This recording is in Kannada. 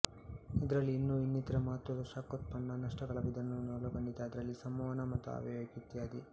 ಇದರಲ್ಲಿ ಇನ್ನೂ ಇನ್ನಿತರ ಮಹತ್ವದ ಶಾಖೋತ್ಪನ ನಷ್ಟಗಳ ವಿಧಾನವನ್ನೂ ಒಳಗೊಂಡಿದೆಅದರಲ್ಲಿ ಸಂವಹನ ಮತ್ತು ಆವಿಯಾಗುವಿಕೆ ಇತ್ಯಾದಿ